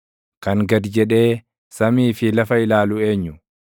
Kan gad jedhee samii fi lafa ilaalu eenyu?